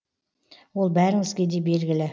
ол бәріңізге де белгілі